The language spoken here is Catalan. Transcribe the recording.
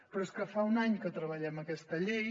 però és que fa un any que treballem aquesta llei